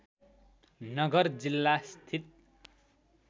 नगर जिल्ला स्थित